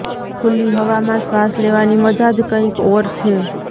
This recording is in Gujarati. ખુલ્લી હવામાં શ્વાસ લેવાની મજા જ કંઇક ઓર છે